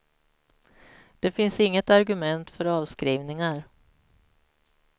Det finns inget argument för avskrivningar.